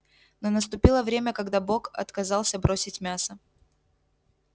но наступило время когда бог отказался бросить мясо